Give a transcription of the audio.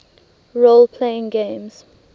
role playing games